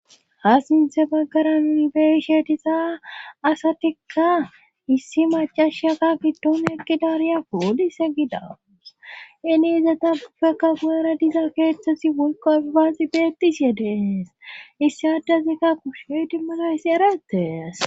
ha sinthe baggara nibeeishe tisa asatikka issi macashata giddoon eqgi dariya polise gida iniizata gufeka guara diza keeththosi wolqo abaaxi beetis yedees issi addazikka kusheydimmana hissi eratees